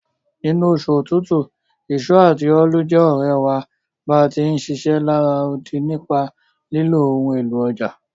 Nínú osù otútù, ìso àti óólù je òrẹ̀ wa bá ti ń ṣiṣẹ́ lará odi nípa lílo ohun élò ọjà.